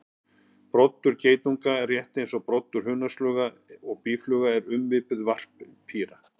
Broddur geitunga, rétt eins og broddur hunangsflugna og býflugna, er ummynduð varppípa.